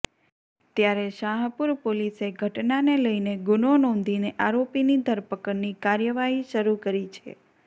ત્યારે શાહપુર પોલીસે ઘટનાને લઈને ગુનો નોંધીને આરોપીની ધરપકડની કાર્યવાહી શરૂ કરી છે